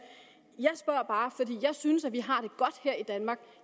jeg spørger bare fordi jeg synes vi har det godt her i danmark